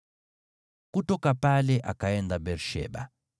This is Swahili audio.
Kutoka pale akaenda Beer-Sheba.